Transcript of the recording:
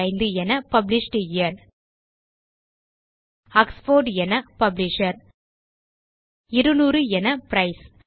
1975 என published year Oxford என publisher 200 என பிரைஸ்